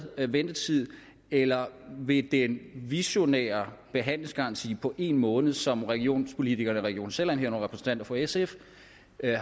ventetid eller ved den visionære behandlingsgaranti på en måned som regionspolitikerne i region sjælland herunder repræsentanter for sf